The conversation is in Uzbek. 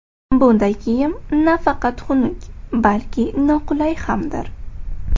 Bunday kiyim nafaqat xunuk, balki noqulay hamdir.